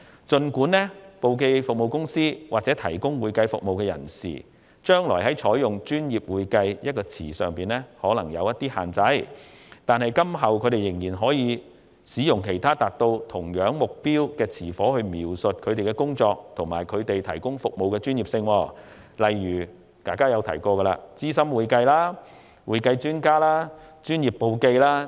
儘管提供簿記或會計服務的公司或個人，將來在採用"專業會計"的稱謂上或會受若干限制，但仍可使用其他達到相同目標的稱謂描述其工作及所提供服務的專業性，例如"資深會計"、"會計專家"和"專業簿記"等。